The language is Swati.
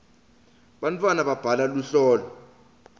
bantwana babhala luhlolo